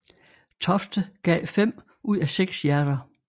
Tofte gav fem ud af seks hjerter